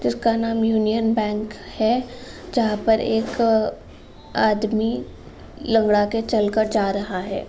जिसका नाम Union Bank है जहाँ पर एक आदमी लगड़ाके चलकर जा रहा है।